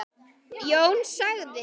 Jón sagði